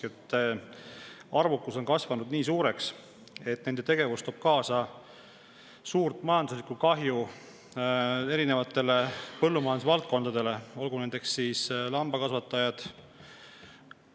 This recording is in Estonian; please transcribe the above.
nii suureks, et nende tegevus toob kaasa suurt majanduslikku kahju erinevatele põllumajandusvaldkondadele, näiteks lambakasvatajatele.